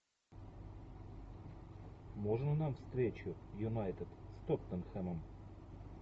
можно нам встречу юнайтед с тоттенхэмом